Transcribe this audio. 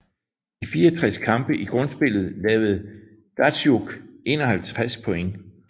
I 64 kampe i grundspillet lavede Datsjuk 51 points